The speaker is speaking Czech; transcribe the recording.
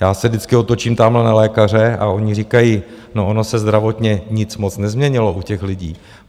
Já se vždycky otočím tamhle na lékaře a oni říkají: No, ono se zdravotně nic moc nezměnilo u těch lidí.